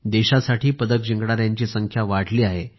देशासाठी पदक जिंकणाऱ्यांची संख्या वाढली आहे